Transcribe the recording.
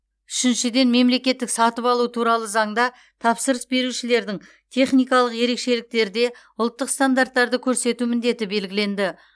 үшіншіден мемлекеттік сатып алу туралы заңда тапсырыс берушілердің техникалық ерекшеліктерде ұлттық стандарттарды көрсету міндеті белгіленді